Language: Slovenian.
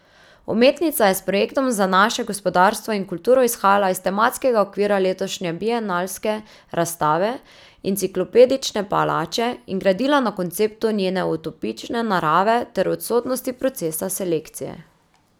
Umetnica je s projektom Za naše gospodarstvo in kulturo izhajala iz tematskega okvira letošnje bienalske razstave, Enciklopedične palače, in gradila na konceptu njene utopične narave ter odsotnosti procesa selekcije.